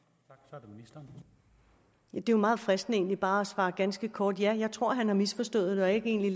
er jo meget fristende egentlig bare at svare ganske kort ja jeg tror at han har misforstået det og egentlig